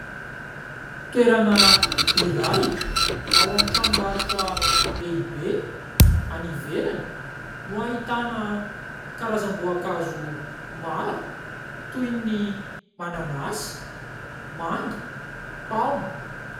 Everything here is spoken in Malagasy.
Toerana iray ao amin'ny tranombarotra lehibe any ivelany no ahitana karazam-boankazo maro toy ny mananasy, manga, paoma.